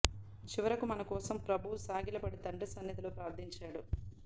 చివరకు మన కోసం ప్రభువు సాగిలపడి తండ్రి సన్నిధిలో ప్రార్థించాడు